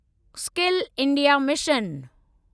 skill India mission